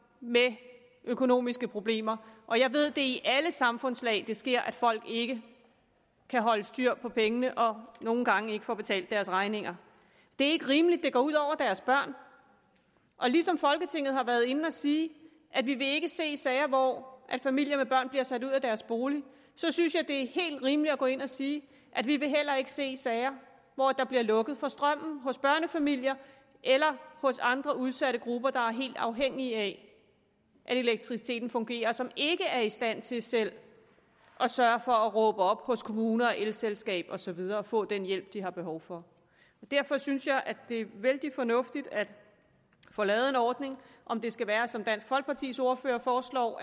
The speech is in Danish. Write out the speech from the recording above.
med økonomiske problemer og jeg ved at det er i alle samfundslag det sker at folk ikke kan holde styr på pengene og nogle gange ikke får betalt deres regninger det er ikke rimeligt at det går ud over deres børn og ligesom folketinget har været inde at sige at vi ikke vil se sager hvor familier med børn bliver sat ud af deres bolig så synes jeg det er helt rimeligt at gå ind og sige at vi heller ikke vil se sager hvor der bliver lukket for strømmen hos børnefamilier eller hos andre udsatte grupper der er helt afhængige af at elektriciteten fungerer og som ikke er i stand til selv at sørge for at råbe op hos kommunen og elselskabet og så videre og få den hjælp de har behov for derfor synes jeg det er vældig fornuftigt at få lavet en ordning om det skal være som dansk folkepartis ordfører foreslår